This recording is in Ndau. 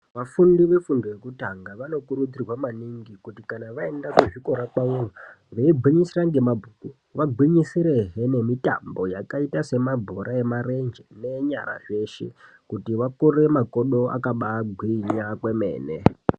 Vafundi vefundo yekutanga vanokurudzirwa kuti kana vaenda kuzvikora kwavo veigwinyisira nemabhuku veigwinyisirawo nemitambo yakaita semabhoro nemarenje ngenyara zveshe kuti vakure makodo akagwinya kwemene.